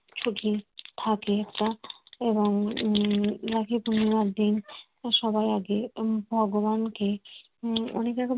যদি থাকে একটা থাকে একটা এবং উম রাখি পূর্ণিমার দিন সবাই আগে গুলান কে অনেকটা